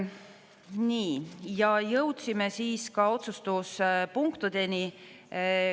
Nii, ja jõudsime siis ka otsustuspunktideni.